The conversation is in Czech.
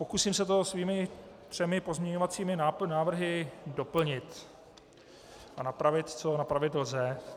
Pokusím se to svými třemi pozměňovacími návrhy doplnit a napravit, co napravit lze.